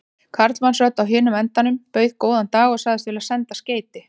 Karlmannsrödd á hinum endanum bauð góðan dag og sagðist vilja senda skeyti.